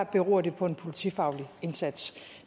beror det på en politifaglig indsats